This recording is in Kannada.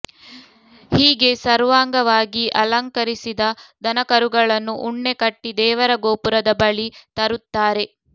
ಹೀಗೆ ಸರ್ವಾಂಗವಾಗಿ ಅಲಂಕರಿಸಿದ ದನಕರುಗಳನ್ನು ಉಣ್ಣೆ ಕಟ್ಟಿ ದೇವರ ಗೋಪುರದ ಬಳಿ ತರುತ್ತಾರೆ